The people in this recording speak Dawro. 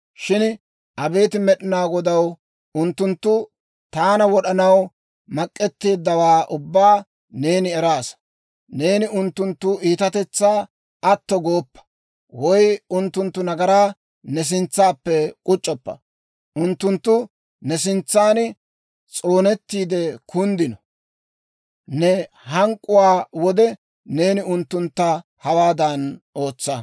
Shin abeet Med'inaa Godaw, unttunttu taana wod'anaw mak'etteeddawaa ubbaa neeni eraasa. Neeni unttunttu iitatetsaa atto gooppa, woy unttunttu nagaraa ne sintsappe k'uc'c'oppa. Unttunttu ne sintsan s'oonettiide kunddino. Ne hank'k'uwaa wode neeni unttuntta hawaadan ootsa.